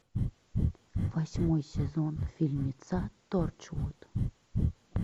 восьмой сезон фильмеца торчвуд